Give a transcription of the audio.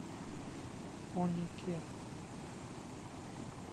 конике